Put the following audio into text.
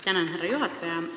Tänan, härra juhataja!